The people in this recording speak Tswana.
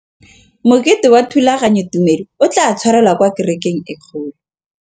Mokete wa thulaganyôtumêdi o tla tshwarelwa kwa kerekeng e kgolo.